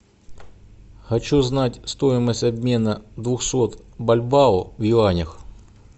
хочу знать стоимость обмена двухсот бальбоа в юанях